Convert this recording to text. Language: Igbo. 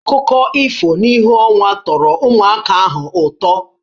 Akụkọ ifo n'ìhè ọnwa tọrọ ụmụaka ahụ ụtọ